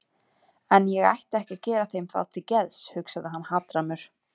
En ég ætti ekki að gera þeim það til geðs, hugsaði hann hatrammur.